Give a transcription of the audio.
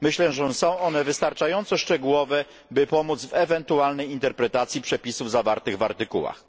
Myślę, że są one wystarczająco szczegółowe, by pomóc w ewentualnej interpretacji przepisów zawartych w artykułach.